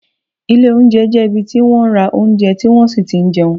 Ilé oúnjẹ jẹ́ ibi tí wọ́n ra oúnjẹ tí wón sì ti n jẹun